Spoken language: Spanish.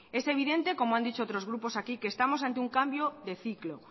es evidente como han dicho otros grupos aquí que estamos ante un cambio de ciclo